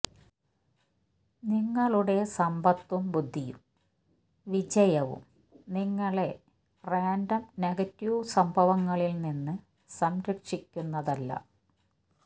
നിങ്ങളുടെ സമ്പത്തും ബുദ്ധിയും വിജയവും നിങ്ങളെ റാൻഡം നെഗറ്റീവ് സംഭവങ്ങളിൽ നിന്ന് സംരക്ഷിക്കുന്നതല്ല